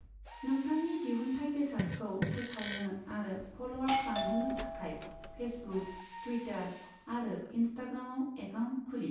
नोंथांनि दिहुनथाइ बेसादखौ फोसावनो आरो फल'वार्स बांहोनो थाखाय फेसबुक, टुईटार आरो इनस्टाग्रामाव एकाउन्ट खुलि।